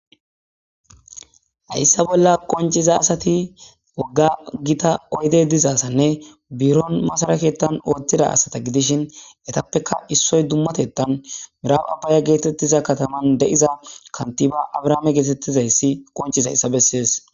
hayssa bolla qonciza asati wogga gita oyde dizaasanne buuron masaraketan ooththida asata gidishin etappeka issoy dummatettan miraab abbaya geetettiza kataman de7iza kantiba abrahaame geetettizayssi qonciz hayssa bessees